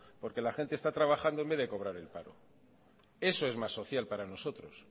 porque la gente está trabajando en vez de cobrar el paro eso es más social para nosotros